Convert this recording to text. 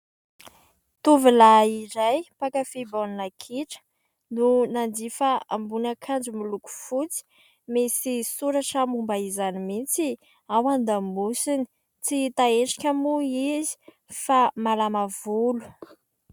Tovolahy iray mpakafy baolina kitra no nanjifa ambonin'akanjo miloko fotsy. Misy soratra momba izany mihitsy ao an-damosiny. Tsy hita endrika moa izy fa malama volo.